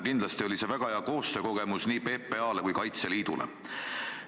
Kindlasti oli see väga hea koostöökogemus nii PPA-le kui Kaitseliidule.